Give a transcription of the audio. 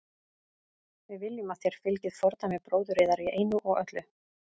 Við viljum að þér fylgið fordæmi bróður yðar í einu og öllu.